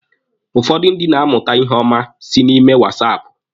Ụfọdụ ndị na-amụta ihe ọma si na ime wasaapụ.